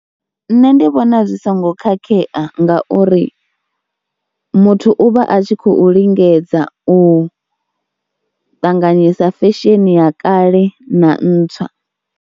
Nṋe ndi vhona zwi songo khakhea ngauri muthu u vha a tshi khou lingedza u ṱanganyisa fesheni ya kale na ntswa.